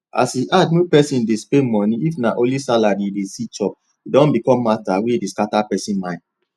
as e hard make pesin dey spend money if na only salary e dey see chop don become matter wey dey scatter person mind